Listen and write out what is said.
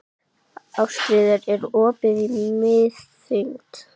Ástríður, er opið í Miðeind?